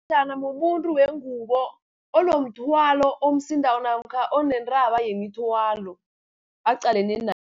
mumuntu wengubo unomthwalo omsindako, namkha onentaba yemithwalo aqalene